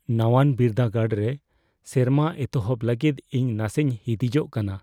ᱱᱟᱣᱟᱱ ᱵᱤᱨᱫᱟᱹᱜᱟᱲ ᱨᱮ ᱥᱮᱨᱢᱟ ᱮᱛᱚᱦᱚᱵ ᱞᱟᱹᱜᱤᱫ ᱤᱧ ᱱᱟᱥᱮᱧ ᱦᱤᱸᱫᱤᱡᱚᱜ ᱠᱟᱱᱟ ᱾